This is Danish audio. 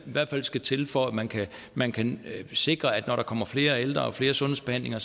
i hvert fald skal til for at man kan man kan sikre at når der kommer flere ældre og flere sundhedsbehandlinger